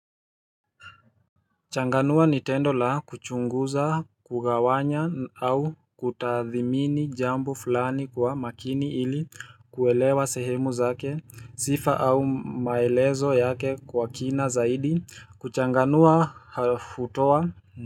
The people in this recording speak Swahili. Changanua ni tendo la kuchunguza, kugawanya au kutathmini jambo fulani kwa makini ili kuelewa sehemu zake, sifa au maelezo yake kwa kina zaidi, kuchanganua hutoa.